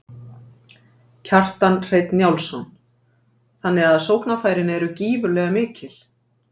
Kjartan Hreinn Njálsson: Þannig að sóknarfærin eru gífurlega mikil?